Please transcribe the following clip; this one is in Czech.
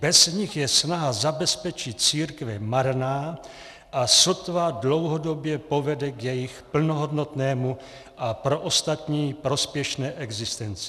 Bez nich je snaha zabezpečit církve marná a sotva dlouhodobě povede k jejich plnohodnotné a pro ostatní prospěšné existenci.